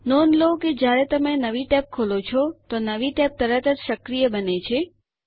નોંધ લો કે જ્યારે તમે નવી ટેબ ખોલો છો તો નવી ટેબ તરત જ સક્રિય બને છે